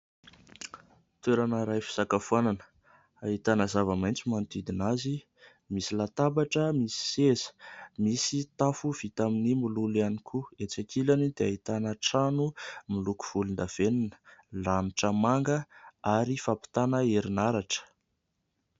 Toerana iray fisakafoanana, ahitana zavamaitso manodidina azy ; misy latabatra, misy seza ; misy tafo vita amin'ny mololo ihany koa. Etsy ankilany dia ahitana trano miloko volondavenona ; lanitra manga ary fampitana herinaratra.